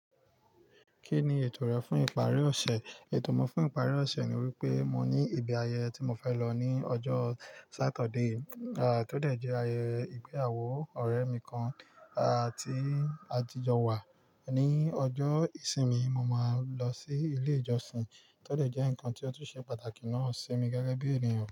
Kí ni ètò rẹ fún ìparí ọ̀ṣẹ̀? Ètò mi fún ìparí ọ̀ṣẹ̀ ni wípé mo ní ibi ayẹyẹ tí mo fẹ́ lọ ní ọjọ́ Saturday, tó dé jẹ́ ayẹyẹ ìgbéyàwó ọ̀rẹ́ mi kan, à ti atijo wà. Ni ọjọ́ ìsinmi, mo máa n lọ sí ilé ìjọsìn, tó dé jẹ́ nǹkan tí ó tún ṣe pàtàkì náà ṣi mi gẹ́gẹ́ bí ènìyàn.